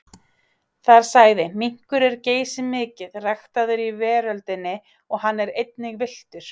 Þar sagði: Minkur er geysimikið ræktaður í veröldinni og hann er einnig villtur.